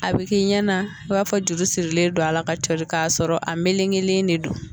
A bɛ ki ɲɛna i b'a fɔ juru sirilen don ala ka cɔri k'a sɔrɔ a melekelen de don.